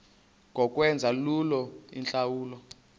ngokwenza lula iintlawulo